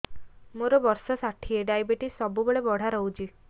ମୋର ବର୍ଷ ଷାଠିଏ ଡାଏବେଟିସ ସବୁବେଳ ବଢ଼ା ରହୁଛି